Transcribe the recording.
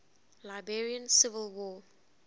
liberian civil war